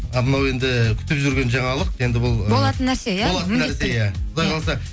а мынау енді күтіп жүрген жаңалық енді бұл болатын нәрсе иә құдай қаласа